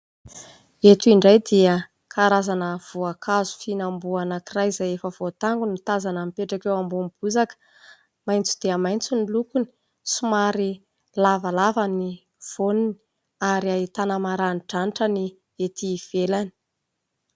Eto indray dia karazana voankazo fihinam-boa anankiray izay efa voatango no tazana mipetraka eo ambony bozaka, maitso dia maitso ny lokony, somary lavalava ny voany ary ahitana maranidranitra ny etỳ ivelany.